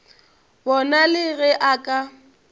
bona le ge a ka